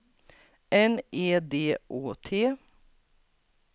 N E D Å T